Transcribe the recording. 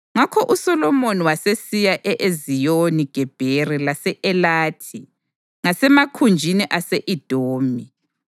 Ngakho uSolomoni wasesiya e-Eziyoni-Gebheri lase-Elathi ngasemakhunjini ase-Edomi.